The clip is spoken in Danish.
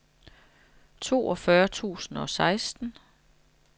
toogfyrre tusind og seksten